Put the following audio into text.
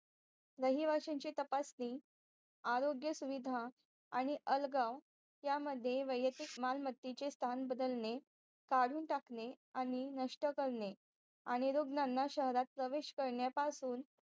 रहिवाशांची तपासणी आरोग्य सुविधा आणि अलगाव यामध्ये वयाचे मालमतेचे स्तानबदलणे काडून टाकणे आणि नष्ट करणे आणि रोग शहरात प्रवेशकरण्यापासून